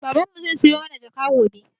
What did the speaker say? Baban mu zai siyo mana jaka gobe